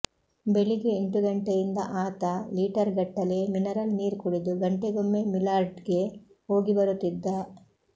ಬೆಳಿಗ್ಗೆ ಎಂಟುಗಂಟೆಯಿಂದ ಆತ ಲೀಟರ್ಗಟ್ಟಲೆ ಮಿನರಲ್ ನೀರು ಕುಡಿದು ಗಂಟೆಗೊಮ್ಮೆ ಮಿಲಾರ್ಡ್ಗೆ ಹೋಗಿಬರುತ್ತಿದ್ದ